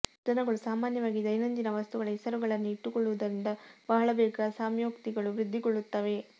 ಜನಗಳು ಸಾಮಾನ್ಯವಾಗಿ ದೈನಂದಿನ ವಸ್ತುಗಳ ಹೆಸರುಗಳನ್ನೇ ಇಟ್ಟುಕೊಳ್ಳುವುದರಿಂದ ಬಹಳ ಬೇಗ ಸೌಮ್ಯೋಕ್ತಿಗಳು ವೃದ್ಧಿಗೊಳ್ಳುತ್ತವೆ